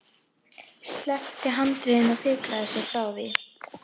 Sleppti handriðinu og fikraði sig frá því.